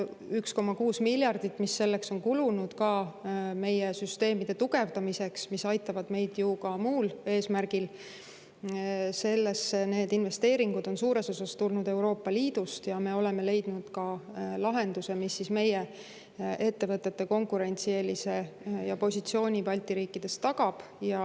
1,6 miljardit eurot, mis selleks on kulunud, ka meie süsteemide tugevdamiseks, mis aitavad meid ju ka muul eesmärgil, need investeeringud on suures osas tulnud Euroopa Liidust ja me oleme leidnud ka lahenduse, mis meie ettevõtete konkurentsieelise ja positsiooni Balti riikides tagab.